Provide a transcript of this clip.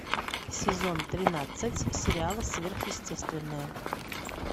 сезон тринадцать сериала сверхъестественное